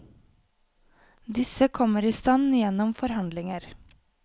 Disse kommer i stand gjennom forhandlinger.